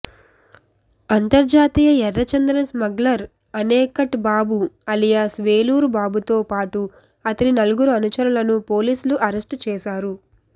అంతర్జాతీయ ఎర్రచందనం స్మగ్లర్ అనేకట్ బాబు అలియాస్ వేలూరు బాబుతో పాటు అతని నల్గురు అనుచరులను పోలీసులు అరెస్ట్ చేశారు